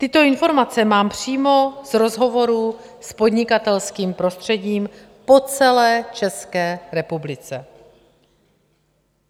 Tyto informace mám přímo z rozhovoru s podnikatelským prostředím po celé České republice.